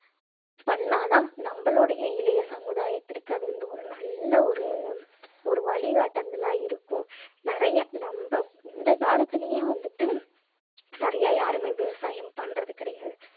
பண்ணா தான் நம்மளுடைய இளைய சமுதாயத்திற்கு அது வந்து ஒரு நல்ல ஒரு வழிகாட்டுதலா இருக்கும். நிறைய நம்ம இந்தக் காலத்திலயும் வந்துட்டு நிறைய யாரும் விவசாயம் பண்றது கிடையாது.